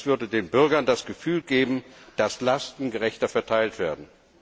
Das würde den Bürgern das Gefühl geben, dass Lasten gerechter verteilt werden.